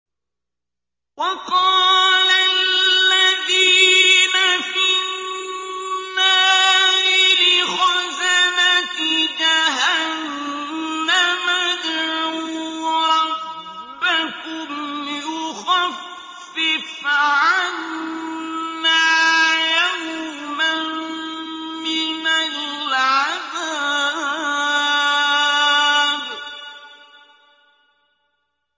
وَقَالَ الَّذِينَ فِي النَّارِ لِخَزَنَةِ جَهَنَّمَ ادْعُوا رَبَّكُمْ يُخَفِّفْ عَنَّا يَوْمًا مِّنَ الْعَذَابِ